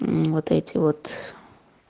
мм вот эти вот